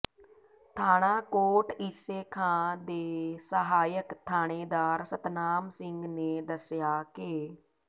ਥਾਣਾ ਕੋਟ ਈਸੇ ਖਾਂ ਦੇ ਸਹਾਇਕ ਥਾਣੇਦਾਰ ਸਤਨਾਮ ਸਿੰਘ ਨੇ ਦੱਸਿਆ ਕਿ